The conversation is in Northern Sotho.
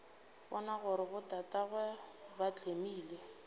bona gore botatagwe ba tlemile